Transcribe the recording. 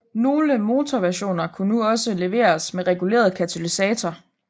Nogle motorversioner kunne nu også leveres med reguleret katalysator